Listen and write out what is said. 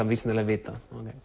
vísindalega að vita